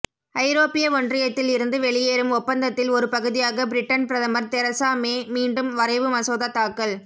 ஐரோப்பிய ஒன்றியத்தில் இருந்து வெளியேறும் ஒப்பந்தத்தில் ஒருபகுதியாக பிரிட்டன் பிரதமர் தெரசா மே மீண்டும் வரைவு மசோதா தாக்கல்